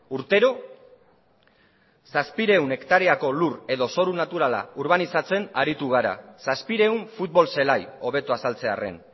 urtero zazpiehun hektareako lur edo zoru naturala urbanizatzen aritu gara zazpiehun futbol zelai hobeto azaltzearren